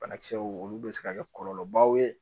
Banakisɛw olu bɛ se ka kɛ kɔlɔlɔbaw ye